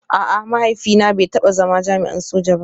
A'a, mahaifina bai taba zama jami'in soja ba